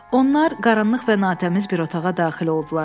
Onlar qaranlıq və natəmiz bir otağa daxil oldular.